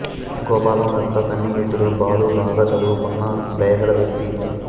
గోపాలం యొక్క సన్నిహితుడు బాలు బాగా చదువుకున్న దయగల వ్యక్తి